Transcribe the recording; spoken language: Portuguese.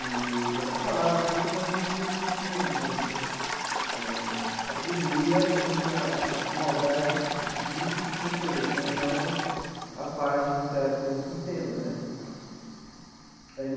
E ela falava tudo, mas a gente não não tinha, digamos eh... Atribuía, digamos, a a maldade de pessoas né, não a parte de um certo sistema né.